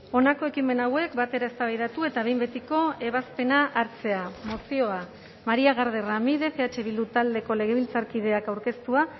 honako ekimen hauek batera eztabaidatu eta behin betiko ebazpena hartzea mozioa maria garde ramirez eh bildu taldeko legebiltzarkideak aurkeztua